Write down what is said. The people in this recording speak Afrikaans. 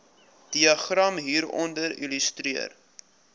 diagram hieronder illustreer